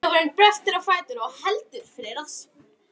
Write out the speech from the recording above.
Þjófurinn bröltir á fætur og heldur fyrir rassinn.